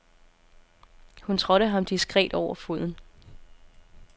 Hun trådte ham diskret over foden.